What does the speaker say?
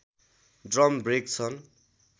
drum brake छन्